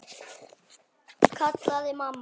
kallaði mamma.